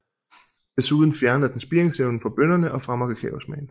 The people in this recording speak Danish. Desuden fjerner den spiringsevnen fra bønnerne og fremmer kakaosmagen